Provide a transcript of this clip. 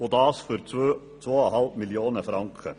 Und das für 2,5 Mio. Franken.